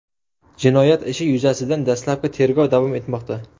Jinoyat ishi yuzasidan dastlabki tergov davom etmoqda.